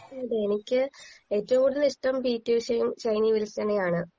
അതെ എനിക്ക് ഏറ്റോം കൂടുതൽ ഇഷ്ട്ടം പി ട്ടി ഉശേം ഷെയ്‌നി വിൽ‌സണെ ആണ്